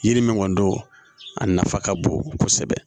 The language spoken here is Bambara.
Yiri min kɔni don a nafa ka bon kosɛbɛ